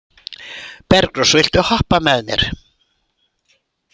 Bergrós, viltu hoppa með mér?